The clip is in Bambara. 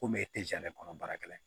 Komi e tɛ kɔnɔ baarakɛla ye